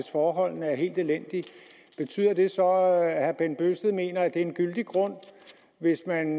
forholdene er helt elendige betyder det så at herre bent bøgsted mener det er en gyldig grund hvis man